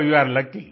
so you are lucky